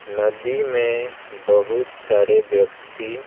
नदी में बहुत सारे व्यक्ति--